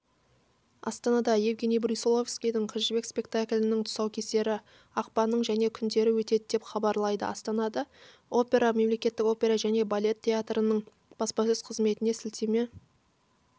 астанада евгенийбрусиловскийдің қызжібек спектаклінің тұсаукесері ақпанның және күндері өтеді деп хабарлайды астана опера мемлекеттік опера және балет театрының баспасөз қызметіне сілтеме